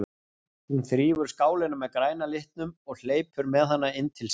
Hún þrífur skálina með græna litnum og hleypur með hana inn til sín.